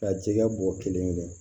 Ka jɛgɛ bɔ kelen kelen